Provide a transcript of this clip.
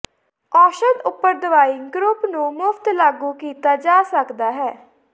ਔਸ਼ਧ ਉਪਰ ਦਵਾਈ ਗਰੁੱਪ ਨੂੰ ਮੁਫ਼ਤ ਲਾਗੂ ਕੀਤਾ ਜਾ ਸਕਦਾ ਹੈ